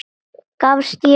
Gafst ég upp?